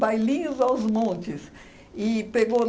Bailinhos aos montes. E pegou